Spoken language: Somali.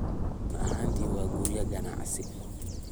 Run ahaantii, waa guryo ganacsi.